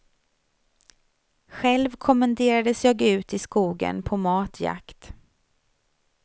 Själv kommenderades jag ut i skogen på matjakt.